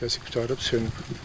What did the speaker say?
Bizə letkası qurtarıb sönüb.